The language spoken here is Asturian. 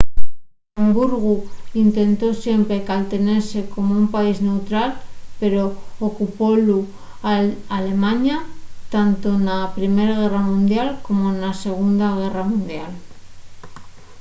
luxemburgu intentó siempre caltenese como un país neutral pero ocupólu alemaña tanto na primer guerra mundial como na segunda guerra mundial